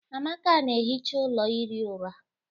Amaka na-ehicha ụlọ ihi ụra